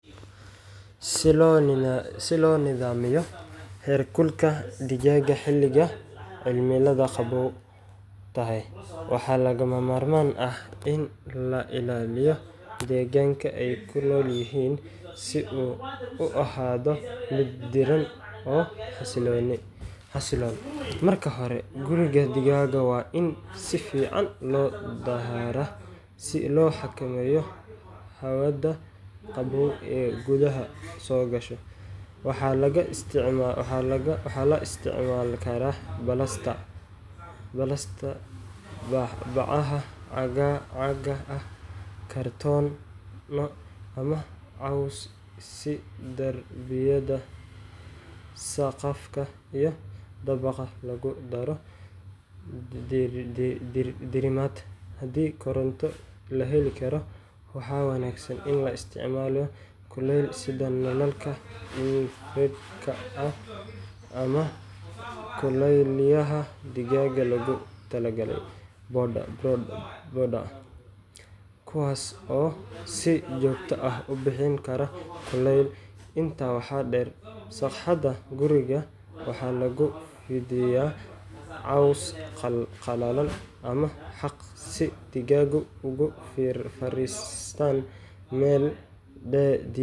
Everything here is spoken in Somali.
Si loo nidaamiyo heerkulka digaaga xilliga cimiladu qabow tahay, waxaa lagama maarmaan ah in la ilaaliyo deegaanka ay ku nool yihiin si uu u ahaado mid diirran oo xasiloon. Marka hore, guriga digaaga waa in si fiican loo dahaaraa si loo xakameeyo hawada qabow ee gudaha soo gasha. Waxaa la isticmaali karaa balastar, bacaha caagga ah, kartoono, ama caws si derbiyada, saqafka, iyo dabaqa loogu daro diirimaad. Haddii koronto la heli karo, waxaa wanaagsan in la isticmaalo kuleyliyayaal sida nalalka infrared-ka ama kuleyliyaha digaaga loogu talagalay brooder, kuwaas oo si joogto ah u bixin kara kulayl. Intaa waxaa dheer, sagxadda guriga waxaa lagu fidiyaa caws qalalan ama xaaq, si digaagu ugu fariistaan meel dii